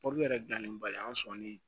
yɛrɛ dilannen ba ye an sɔnni